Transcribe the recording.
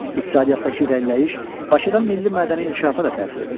İqtisadiyyatdakı irəliləyiş Bakıdan milli mədəni inkişafa da təsir edirdi.